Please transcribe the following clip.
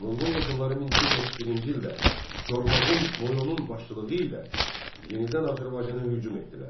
Monqol qoşunları 1231-ci ildə Çormaqun Noyonun başçılığı ilə yenidən Azərbaycana hücum etdilər.